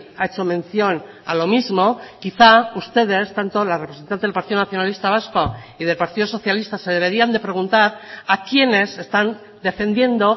ha hecho mención a lo mismo quizá ustedes tanto la representante del partido nacionalista vasco y del partido socialista se deberían de preguntar a quiénes están defendiendo